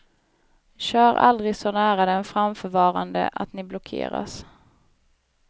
Kör aldrig så nära den framförvarande att ni blockeras.